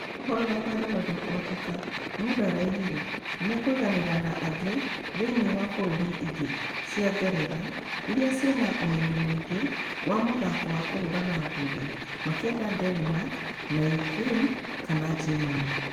Ũkorwo thabarĩ ĩno ndĩkũhoteka muda araugire nĩmakũiganĩra na ĩngĩ thĩinĩ wa bũrũri inge cia ngeretha iria ciena ũmenyo mũingĩ wa mũthako wa kũhũrana ngundi makienda denmark kana Ukraine kana Germany.